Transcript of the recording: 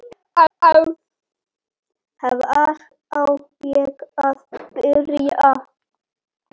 Hvar á ég að byrja!